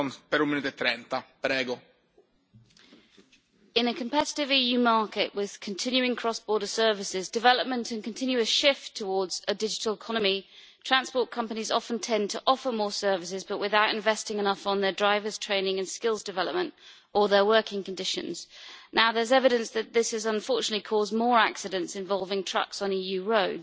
Mr President, in a competitive EU market with continuing cross-border services development and a continuous shift towards a digital economy, transport companies often tend to offer more services, but without investing enough on their drivers' training and skills development or their working conditions. Now there is evidence that this has unfortunately caused more accidents involving trucks on EU roads.